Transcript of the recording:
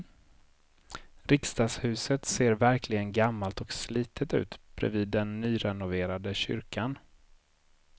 Riksdagshuset ser verkligen gammalt och slitet ut bredvid den nyrenoverade kyrkan.